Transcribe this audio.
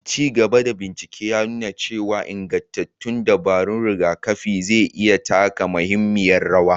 Ci gaba da bincike ya nuna cewa ingantattun dabarun rigakafin za su iya taka muhimmiyar rawa.